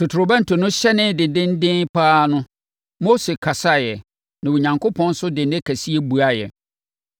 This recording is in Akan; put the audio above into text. Totorobɛnto no hyɛnee dendeenden pa ara no, Mose kasaeɛ na Onyankopɔn nso de nne kɛseɛ buaeɛ.